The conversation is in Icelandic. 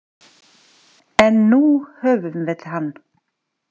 En nú höfum við hann.